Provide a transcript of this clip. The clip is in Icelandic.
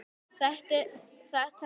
Þetta var merkur áfangi.